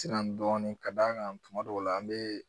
Siran dɔɔnin ka d'a kan tuma dɔw la an bɛ